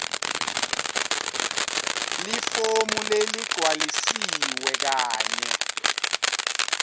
lifomu leligcwalisiwe kanye